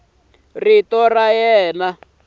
rito ra yena a ri